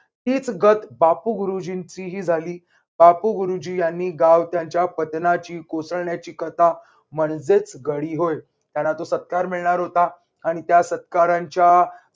हीच गत बापू गुरुजींची ही झाली. बापू गुरुजीं यांनी गाव त्यांच्या कोसळण्याची कथा म्हणजेच गडी होय. त्याला तो सत्कार मिळणार होता. आणि त्या सत्काराच्या